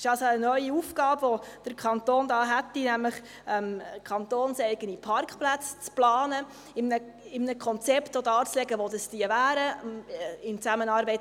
Es ist also eine neue Aufgabe, die der Kanton damit hätte, nämlich kantonseigene Parkplätze zu planen, in einem Konzept auch darzulegen, wo sich diese befänden;